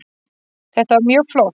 Þetta var mjög flott